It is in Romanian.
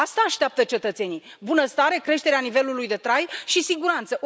Asta așteaptă cetățenii bunăstare, creșterea nivelului de trai și siguranță.